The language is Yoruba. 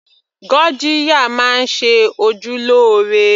Gurgiya máa ń ṣe ojú lóore